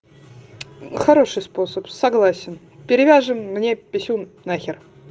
хороший способ согласен перевяжем мне писюн нахер